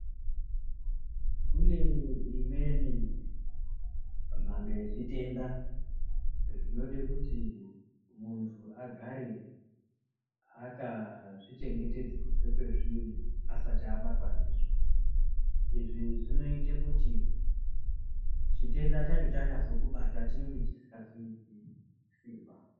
Kune imweni mhando yezvitenda zvinode kuti muntu agare akazvichengetedze kubve kwezviri, asati abatwa ndizvo. Izvi zvinoite kuti chitenda chacho chanyazokubata chinenge chisingazoiti simba.